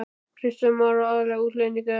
Kristján Már: Og aðallega útlendingar eða hvað?